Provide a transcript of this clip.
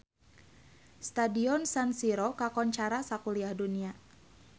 Stadion San Siro kakoncara sakuliah dunya